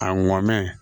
A ŋɔnɛ